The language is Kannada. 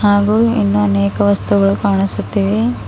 ಹಾಗೂ ಇನ್ನೂ ಅನೇಕ ವಸ್ತುಗಳು ಕಾಣಿಸುತ್ತಿ ವೆ.